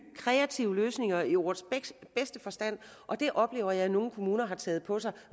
kreative løsninger i ordets bedste forstand det oplever jeg at nogle kommuner har taget på sig